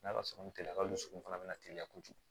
N'ala sɔnn'a teliya ka dusukun fana bɛna teliya kojugu